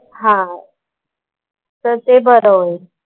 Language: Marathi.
हां. तर ते बरं होईल.